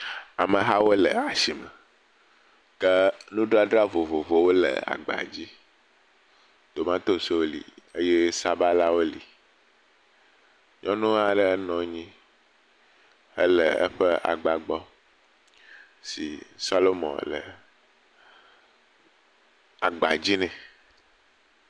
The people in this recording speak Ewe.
Amehawo le asi me. Ke nudzdzra vovovowo le agba dzi. Tomatosiwo li eye sabalawo li. Nyɔnu aɖe nɔ anyi hele eƒe agba gbɔ si salumɔ le agba dzi nɛ.